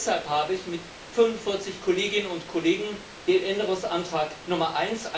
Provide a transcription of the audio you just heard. Deshalb habe ich mit 45 Kolleginnen und Kollegen den Änderungsantrag Nr.